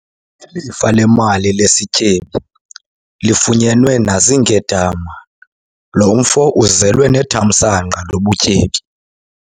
Ilifa lemali lesityebi lifunyenwe naziinkedama. lo mfo uzelwe nethamsanqa lobutyebi